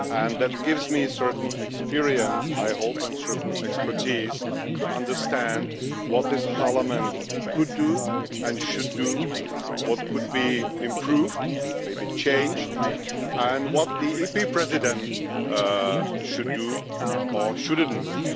That gives me a certain experience, I hope, and a certain expertise to understand what this Parliament could do and should do, what could be improved, and maybe changed, and what Parliament's President should or shouldn't do.